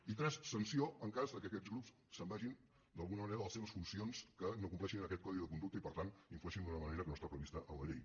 i tres sanció en cas que aquests grups se’n vagin d’alguna manera de les seves funcions que no compleixin aquest codi de conducta i per tant influeixin d’una manera que no està prevista en la llei